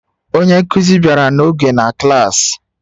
Onye nkuzi bịara n'oge na klas